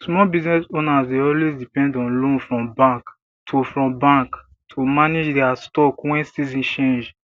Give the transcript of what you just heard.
small business owners dey always depend on loan from bank to from bank to manage dia stock when season change